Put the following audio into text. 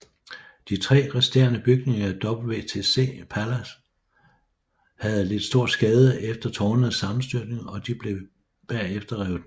De tre resterende bygninger i WTC Plaza havde lidt stor skade efter tårnenes sammenstyrtning og de blev bagefter revet ned